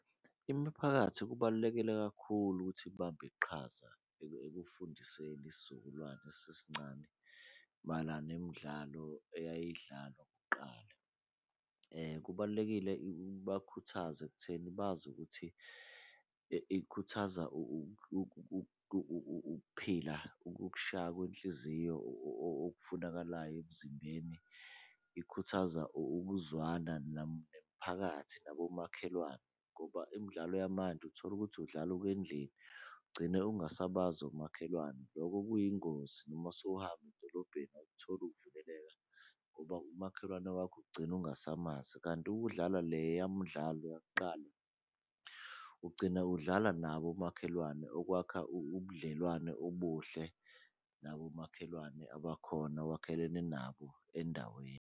Imiphakathi kubalulekile kakhulu ukuthi ibambe iqhaza ekufundiseni isizukulwane lesi esincane mayelana nemidlalo eyidlalwa kuqala. Kubalulekile ibakhuthaze ekutheni bazi ukuthi ikhuthaza ukuphila ukushaya kwenhliziyo ofunakalayo emzimbeni. Ikhuthaza ukuzwana nemphakathi nabomakhelwane ngoba imidlalo yamanje, utholukuthi udlala ukendlini ugcine ungasabazi omakhelwane. Loko kuyingozi noma sowuhamba edolobheni awukutholi ukuvikeleka ngoba umakhelwane wakho ugcine ungasamazi. Kanti ukudlala leya mdlalo yakuqala, ugcina udlala nabo omakhelwane okwakha ubudlelwane obuhle nabomakhelwane abakhona owakhelene nabo endaweni.